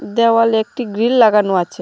দেওয়ালে একটি গ্রিল লাগানো আছে।